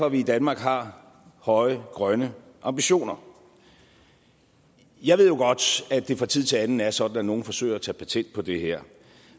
at vi i danmark har høje grønne ambitioner jeg ved jo godt at det fra tid til anden er sådan at nogle forsøger at tage patent på det her